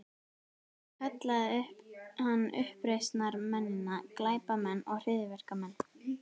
Kallaði hann uppreisnarmennina glæpamenn og hryðjuverkamenn